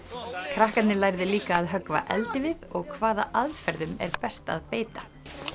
krakkarnir lærðu líka að höggva eldivið og hvaða aðferðum er best að beita